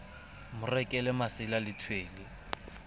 mo rekele masela le tshwele